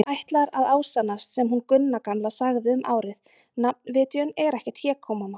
Það ætlar að ásannast sem hún Gunna gamla sagði um árið: nafnvitjun er ekkert hégómamál.